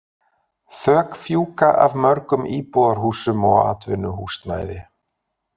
Þök fjúka af mörgum íbúðarhúsum og atvinnuhúsnæði.